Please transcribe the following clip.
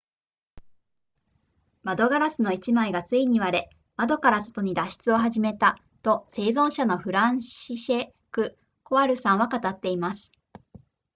窓ガラスの1枚がついに割れ窓から外に脱出を始めたと生存者のフランシシェクコワルさんは語っています